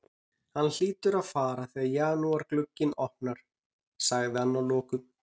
Hann hlýtur að fara þegar janúarglugginn opnar, sagði hann að lokum.